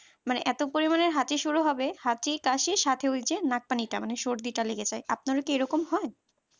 মানে এত পরিমানের হাঁচি শুরু হবে হাঁচি কাশি সাথে ওই যে নাক পানিটা মানে সর্দি টা লেগে যায় আপনারা কি এরকম হয়